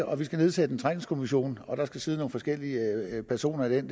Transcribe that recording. og nedsætte en trængselskommission og der skal sidde nogle forskellige personer i den